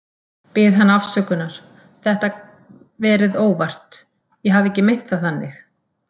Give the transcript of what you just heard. Bið hana afsökunar, þetta verið óvart, ég hafi ekki meint það þannig.